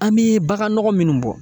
An bɛ baganɔgɔ minnu bɔ.